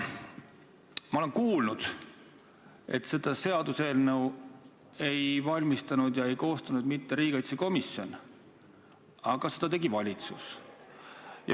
Ma olen kuulnud, et seda seaduseelnõu ei valmistanud ette, ei koostanud mitte riigikaitsekomisjon, vaid seda tegi valitsus.